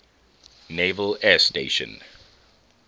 naval air station